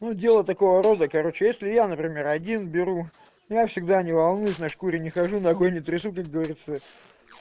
ну дело такого рода короче если я например один беру я всегда не волнуюсь на шкуре не хожу ногой не трясу как говорится